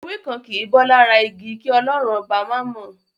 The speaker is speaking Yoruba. Ewé kan kìí bọ́ lára igi, kí Ọlọ́run Ọba má mọ̀.